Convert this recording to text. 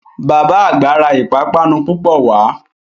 Bàbá àgbà ra ìpápánu púpọ̀ wá